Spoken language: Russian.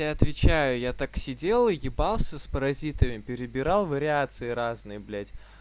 я отвечаю я так сидела и ебался с паразитами перебирал вариации разные блять